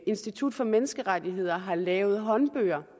institut for menneskerettigheder har lavet håndbøger